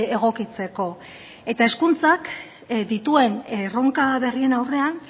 egokitzeko eta hezkuntzak dituen erronka berrien aurrean